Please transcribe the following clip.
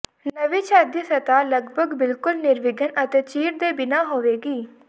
ਨਵੀਂ ਛੱਤ ਦੀ ਸਤਹ ਲਗਭਗ ਬਿਲਕੁਲ ਨਿਰਵਿਘਨ ਅਤੇ ਚੀਰ ਦੇ ਬਿਨਾਂ ਹੋਵੇਗੀ